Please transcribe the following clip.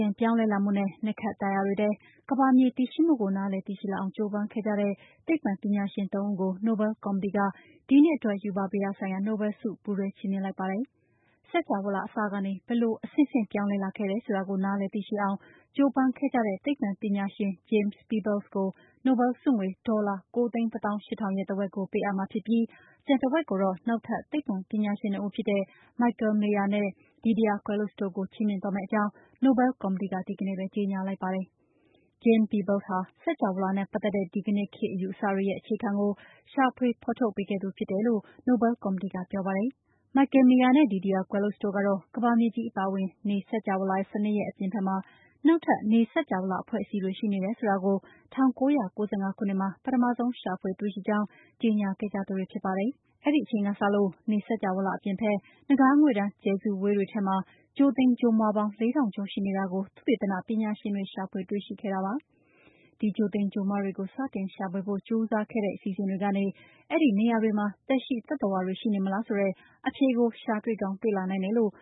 င့်ပြောင်းလဲလာမှုနဲ့ နက္ခတ်တာယာတွေထဲ ကမ္ဘာမြေတည်ရှိမှုကို နားလည်သိရှိလာအောင် ကြိုးပမ်းခဲ့ကြတဲ့ သိပ္ပံပညာရှင် သုံးဦးကို နိုဘဲလ်ကော်မတီက ဒီနှစ်အတွက် ရူပဗေဒဆိုင်ရာ နိုဘဲလ်ဆု ပူးတွဲ ချီးမြှင့်လိုက်ပါတယ်။ စကြဝဠာအစကနေ ဘယ်လို အဆင့်ဆင့် ပြောင်းလဲလာခဲ့တယ်ဆိုတာကို နားလည်သိရှိအောင် ကြိုးပမ်းခဲ့တဲ့ သိပ္ပံပညာရှင် James Peebles ကို နိုဘဲလ်ဆုငွေ ဒေါ်လာ ၉၁၈,၀၀၀ ရဲ့ တဝက်ကို ပေးအပ်မှာဖြစ်ပြီး ကျန်တဝက်ကိုတော့ နောက်ထပ် သိပ္ပံပညာရှင် နှစ်ဦးဖြစ်တဲ့ Michel Mayor နဲ့ Didier Queloz တို့ကို ချီးမြှင့်သွားယ့်အကြောင်း နိုဘဲလ်ကော်မတီက ဒီကနေ့ပဲ ကြေညာလိုက်တာပါ။ James Peebles ဟာ စကြဝဠာနဲ့ ပတ်သက်တဲ့ ဒီကနေ့ခေတ် အယူအဆတွေရဲ့ အခြေခံကို ရှာဖွေဖော်ထုတ်ပေးခဲ့သူ ဖြစ်တယ်လို့ နိုဘဲလ်ကော်မတီက ပြောပါတယ်။ Michel Mayor နဲ့ Didier Queloz တို့ကတော့ ကမ္ဘာမြေကြီး အပါအဝင် နေ စကြဝဠာ စနစ်ရဲ့အပြင်ဘက်မှာ နောက်ထပ် နေ စကြဝဠာအဖွဲ့အစည်းတွေ ရှိနေတယ်ဆိုတာကို ၁၉၉၅ ခုနှစ်မှာ ပထမဆုံးရှာဖွေတွေ့ရှိကြောင်း ကြေညာခဲ့ကြသူတွေဖြစ်ပါတယ်။ အဲ့ဒီအချိန်ကစလို့ နေ စကြဝဠာအပြင်ဘက် နဂါးငွေ့တန်း ကြယ်စုဝေးတွေထဲမှာ ဂြိုဟ်သိမ်ဂြိုဟ်မွှားပေါင်း ၄၀၀၀ ကျော် ရှိနေတာကို သုတေသနပညာရှင်တွေ ရှာဖွေတွေ့ခဲ့ကြတာပါ။ ဒီဂြိုဟ်သိမ်ဂြိုဟ်မွှားတွေကို စတင်ရှာဖွေဖို့ကြိုးစားတဲ့ အစီအစဉ်တွေကနေ အဲ့ဒီနေရာတွေမှာ သက်ရှိသတ္တဝါတွေ ရှိနေမလားဆိုတဲ့ အဖြေကို ရှာတွေ့ကောင်း တွေ့လာနိုင်တယ်လို့